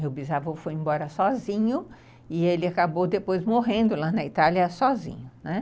Meu bisavô foi embora sozinho e ele acabou depois morrendo lá na Itália sozinho.